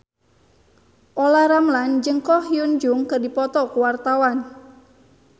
Olla Ramlan jeung Ko Hyun Jung keur dipoto ku wartawan